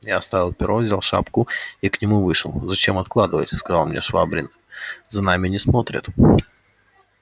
я оставил перо взял шпагу и к нему вышел зачем откладывать сказал мне швабрин за нами не смотрят